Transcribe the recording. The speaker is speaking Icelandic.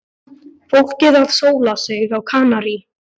Fólkið að sóla sig á Kanarí.